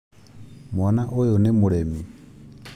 Mwana ũyũ nĩ mũremi